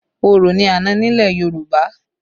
Oro ni àna nílẹ̀ Yorùbá